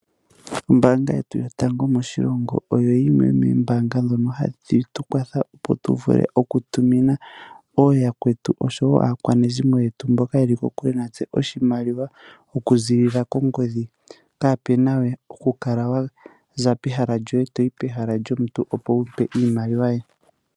Ombanga yetu yotango moshilongo oyo yimwe yoombanga hayi kwatha opo tuvule okutumina ooyakwetu osho woo aakwanezimo yetu mboka yeli kokule nase oshimaliwa okuziilila kongodhi kaapena we okukala waza pehala lyoye toyi pehala lyomuntu opo wumpe iimaliwa ye.